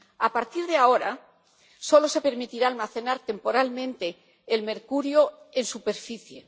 A partir de ahora, solo se permitirá almacenar temporalmente el mercurio en superficie.